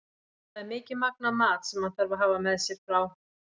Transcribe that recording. Það er mikið magn af mat sem þarf að hafa með sér frá